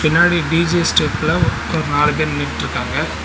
முன்னாடி டி_ஜெ ஸ்டெப்ல மொத்தோ நாலு பேரு நின்னுட்ருக்காங்க.